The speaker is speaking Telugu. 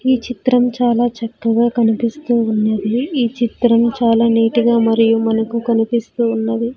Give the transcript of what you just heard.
ఈ చిత్రం చాలా చక్కగా కనిపిస్తూ ఉన్నది ఈ చిత్రం చాలా నీట్ గా మరియు మనకు కనిపిస్తూ ఉన్నది.